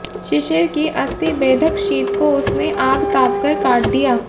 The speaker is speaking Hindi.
शिशिर की अस्थिबेधक शीत को उसने आग तापकर काट दिया